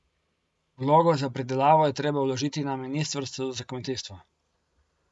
Vlogo za pridelavo je treba vložiti na ministrstvu za kmetijstvo.